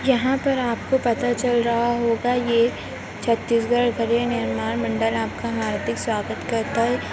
यहाँ पर आपको पता चल रहा होगा ये छत्तीसगढ़ गृह निर्माण मंडल आपका हार्दिक स्वागत करता है।